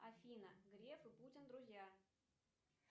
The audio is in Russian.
афина греф и путин друзья